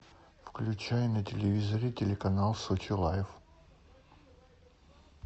включай на телевизоре телеканал сочи лайф